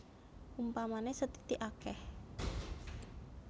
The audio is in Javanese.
Upamané sethithik akèh